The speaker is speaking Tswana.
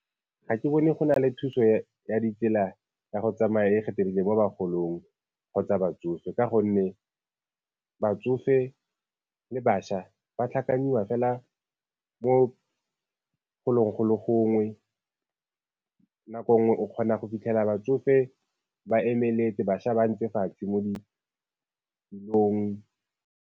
Ga ke bone go na le thuso ya ditsela ya go tsamaya e mo bagolong kgotsa batsofe, ka gonne batsofe le bašwa ba fela mo golong go le gongwe. Nako nngwe o kgona go fitlhela batsofe ba emeletse, bašwa ba ntse fatshe mo ditilong.